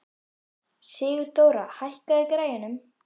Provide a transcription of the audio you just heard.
Sigurdóra, hækkaðu í græjunum.